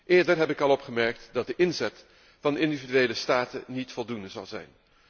Eerder heb ik al opgemerkt dat de inzet van individuele staten niet voldoende zal zijn.